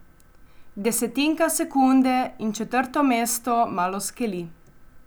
Desetinka sekunde in četrto mesto malo skeli.